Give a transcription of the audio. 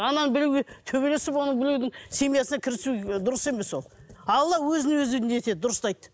ананы біреуге төбелесіп оның біреудің семьясына кірісу дұрыс емес ол алла өзін өзі не етеді дұрыстайды